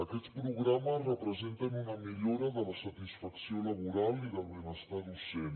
aquests programes representen una millora de la satisfacció laboral i del benestar docent